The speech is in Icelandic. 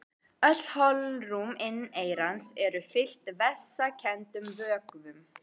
Öll holrúm inneyrans eru fyllt vessakenndum vökvum.